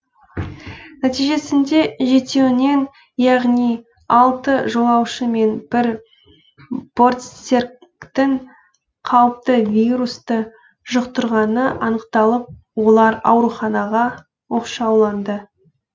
нәтижесінде жетеуінен яғни алты жолаушы мен бір бортсеріктің қауіпті вирусты жұқтырғаны анықталып олар ауруханаға оқшауланды